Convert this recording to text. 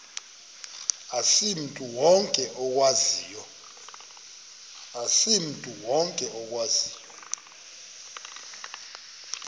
asimntu wonke okwaziyo